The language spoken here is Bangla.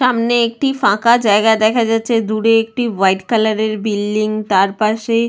সামনে একটি ফাঁকা জায়গা দেখা যাচ্ছে দূরে একটি হোয়াইট কালারের বিল্ডিং তার পাশে--